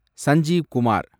Sanjeev Kumar